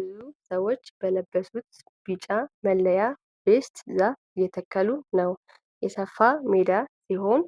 ብዙ ሰዎች በለበሱት ቢጫ መለያ (ቬስት) ዛፍ እየተከሉ ነው። የሰፋ ሜዳ ሲሆን